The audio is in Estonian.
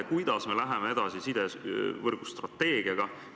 Kuidas me läheme edasi sidevõrgu strateegiaga?